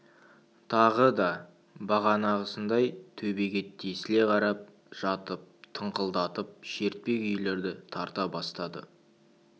тағы да бағанағысындай төбеге тесіле қарап жатып тыңқылдатып шертпе күйлерді тарта бастады